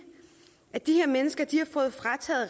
at de her mennesker